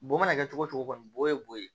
Bon mana kɛ cogo o cogo ye bo ye